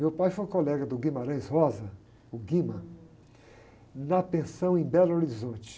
Meu pai foi colega do Guimarães Rosa, o Guima, na pensão em Belo Horizonte.